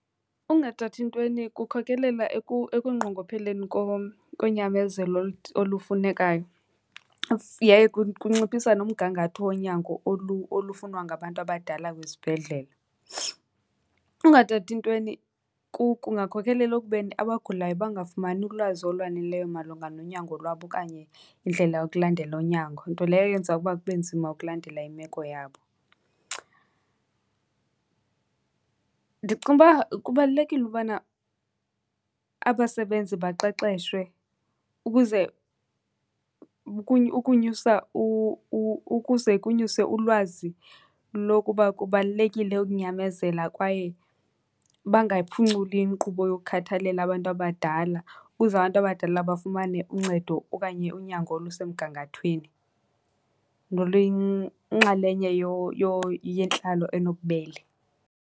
Ukungathathi ntweni kukhokelela ekunqongopheleni konyamezelo olufunekayo yaye kunciphisa nomgangatho wonyango olufunwa ngabantu abadala kwizibhedlele. Ungathathi ntweni kungakhokelela ekubeni abagulayo bangafumani ulwazi olwaneleyo malunga nonyango lwabo okanye indlela yokulandela unyango, nto leyo eyenza ukuba kube nzima ukulandela imeko yabo. Ndicinga uba kubalulekile ubana abasebenzi baqeqeshwe ukuze ukunyusa , ukuze kunyuswe ulwazi lokuba kubalulekile ukunyamezela kwaye bangayiphunculi inkqubo yokhathalela abantu abadala, ukuze abantu abadala bafumane uncedo okanye unyango olusemgangathweni noluyinxalenye yentlalo enobubele.